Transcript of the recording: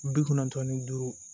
Bi kɔnɔntɔn ni duuru